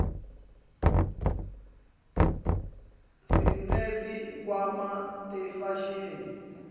sineti khwama tefashini